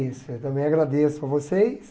Isso, eu também agradeço a vocês.